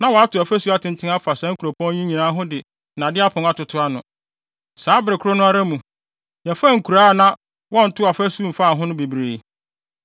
Na wɔato afasu atenten afa saa nkuropɔn yi nyinaa ho de nnade apon atoto ano. Saa bere koro no ara mu, yɛfaa nkuraa a na wɔntoo afasu mfaa ho no bebree.